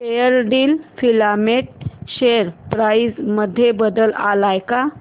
Fairdeal filament share price मध्ये बदल आलाय का